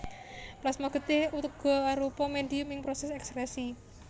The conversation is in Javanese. Plasma getih uga arupa médhium ing prosès èkskrèsi